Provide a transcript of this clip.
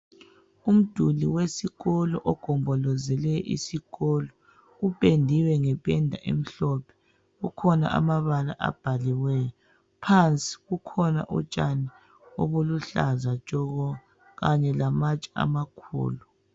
Umduli wesikolo ogombolozele isikolo upendiwe ngependa emhlophe kukhona amabala abhaliweyo phansi kukhona utshani obuluhlaza tshoko kanye lamatshe amakhulu.